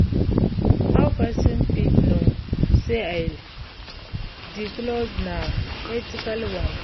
how pesin fit know say di clothing na ethical one?